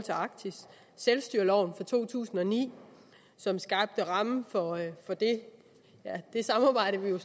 arktis selvstyreloven fra to tusind og ni som skabte rammen for det samarbejde vi jo